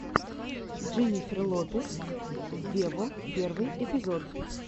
дженнифер лопес вево первый эпизод